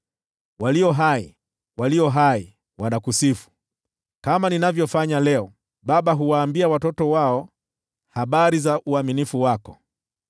Walio hai, walio hai: hao wanakusifu, kama ninavyofanya leo. Baba huwaambia watoto wao habari za uaminifu wako.